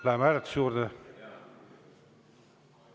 Läheme hääletuse juurde?